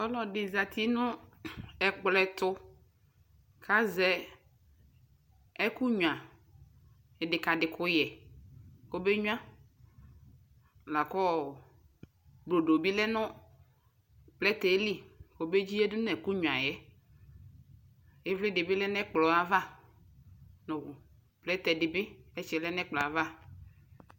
Ɔlɔdi zati nu ɛkllɔetu ku aʒɛ ɛkunyua ɛdɛkadɛ kuyɛ kobenyua lakɔɔ brodo bei lɛnu plɛtɛɛ li kɔbɛdziyadu nu ɛkʋ nyuayɛƐvlɛ dɛbɛɛ yadu nɛkplɔava